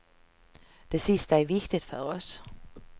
Det sista är viktigt för oss.